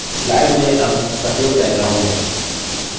slide में अब सफेद background है